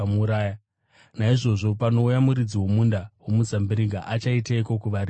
“Naizvozvo, panouya muridzi womunda womuzambiringa achaiteiko kuvarimi avo?”